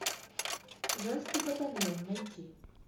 женский батальон найти